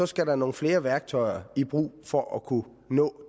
skal nogle flere værktøjer i brug for at kunne nå